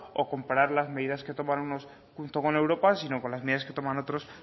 o comparar las medidas que toman unos junto con europa sino con las medidas que toman otros